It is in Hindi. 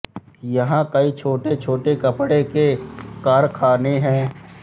यहाँ कई छोटे छोटे कपड़े के कारखाने हैं